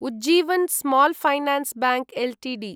Ujjivan small finance bank Ltd